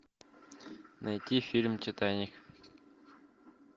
найти фильм титаник